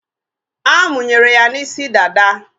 A munyere ya n'isi dada